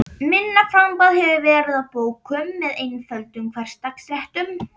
Minna framboð hefur verið af bókum með einföldum hversdagsréttum.